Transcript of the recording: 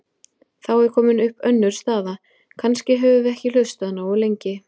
Þá er komin upp önnur staða: Kannski höfum við ekki hlustað nógu lengi.